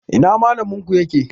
Ina Mallaminku yake?